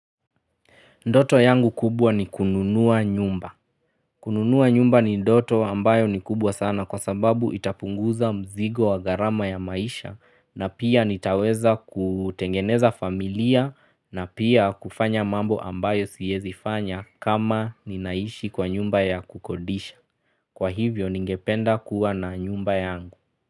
Ndoto yangu kubwa ni kununua nyumba. Kununua nyumba ni ndoto ambayo ni kubwa sana kwa sababu itapunguza mzigo wa gharama ya maisha na pia nitaweza kutengeneza familia na pia kufanya mambo ambayo siezi fanya kama ninaishi kwa nyumba ya kukodisha. Kwa hivyo ningependa kuwa na nyumba yangu.